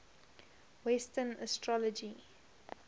western astrology